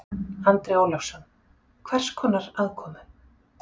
Andri Ólafsson: Hvers konar aðkomu?